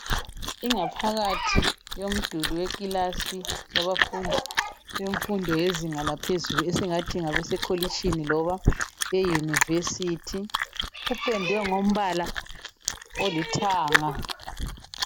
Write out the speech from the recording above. Ingaphakathi yomduli wekilasi, yabafundi bemfundo yezinga laphezulu esingathi, ngabasekolitshini, loba euniversity. Kupendwe ngombala olithanga.